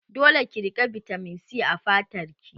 Dole ki rinƙa bitamin C a fatar ki!